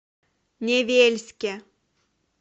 невельске